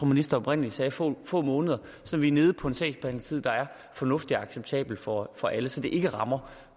ministeren oprindelig sagde få få måneder så vi er nede på en sagsbehandlingstid der er fornuftig og acceptabel for for alle så det ikke rammer